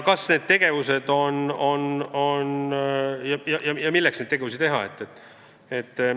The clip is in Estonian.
Ja veel: milleks seda üldse vaja on?